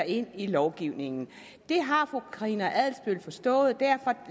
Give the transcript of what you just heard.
ind i lovgivningen det har fru karina adsbøl forstået og derfor